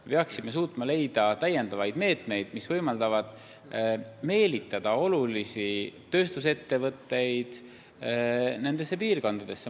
Me peaksime suutma leida lisameetmeid, mis võimaldavad meelitada olulisi tööstusettevõtteid nendesse piirkondadesse.